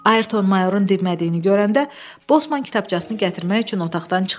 Ayrton mayorun dinmədiyini görəndə, bosman kitabçasını gətirmək üçün otaqdan çıxdı.